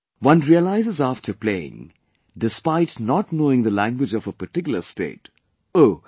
One realizes after playing, despite not knowing the language of a particular state, "Oh